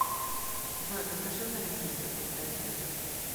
джой запиши на ресницы после обеда